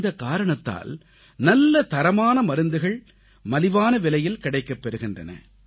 இந்தக் காரணத்தால் நல்ல தரமான மருந்துகள் மலிவான விலையில் கிடைக்கப் பெறுகின்றன